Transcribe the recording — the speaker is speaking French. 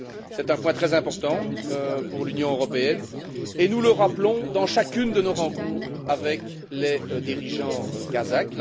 C'est un point très important pour l'Union européenne et nous le rappelons dans chacune de nos rencontres avec les dirigeants kazakhs.